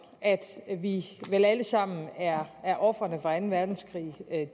at vi vel alle sammen er ofrene for anden verdenskrig